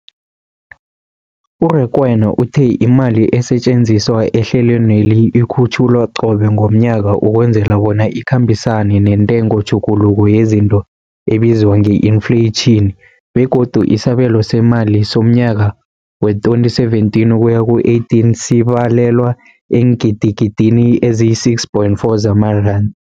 U-Rakwena uthe imali esetjenziswa ehlelweneli ikhutjhulwa qobe ngomnyaka ukwenzela bona ikhambisane nentengotjhuguluko yezinto ebizwa nge-infleyitjhini, begodu isabelo seemali somnyaka we-2017 ukuya ku-18 sibalelwa eengidigidini ezisi-6.4 zamaranda.